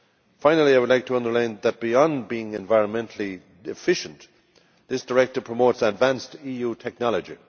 Finally, I would like to underline that, beyond being environmentally efficient, this directive promotes advanced EU technology.